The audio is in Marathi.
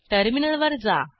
टर्मिनल वर जा